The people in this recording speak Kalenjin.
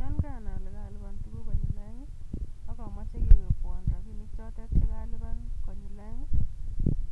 Yon karanai ole karalipaan tuguuk konyil oeng, ak amoche kewekwoon rabinichotet chekalipan konyiil oeng,